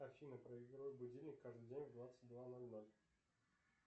афина проигрывай будильник каждый день в двадцать два ноль ноль